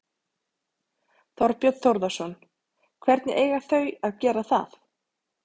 Þorbjörn Þórðarson: Hvernig eiga þau að gera það?